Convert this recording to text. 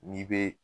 N'i bɛ